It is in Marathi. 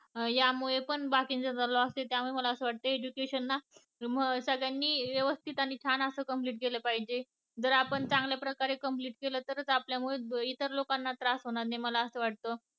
या मुळे पण बाकीच्या बाबतीत पण education ला सगळ्यानी व्यवस्थित आणि छान असं complete केलं पाहिजे जर आपण चांगल्या प्रकारे complete केलं तर आपण इतर लोकांना त्रास होणार नाही मला असं वाटत